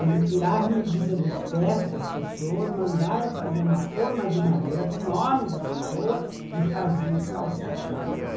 Ele tirava a medida dos pés das pessoas, mandava fazer uma forma de madeira com o nome da pessoa e fazia os calçados.